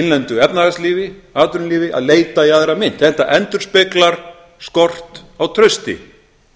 innlendu efnahagslífi atvinnulífi að leita í aðra mynt þetta endurspeglar skort á trausti